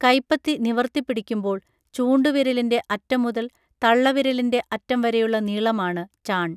കൈപ്പത്തി നിവർത്തി പിടിക്കുമ്പോൾ ചൂണ്ടുവിരലിൻറെ അറ്റം മുതൽ തള്ളവിരലിൻറെ അറ്റം വരെയുള്ള നീളമാണു ചാൺ